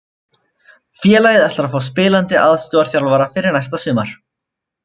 Félagið ætlar að fá spilandi aðstoðarþjálfara fyrir næsta sumar.